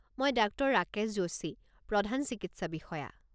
মই ডাক্টৰ ৰাকেশ যোশী, প্ৰধান চিকিৎসা বিষয়া।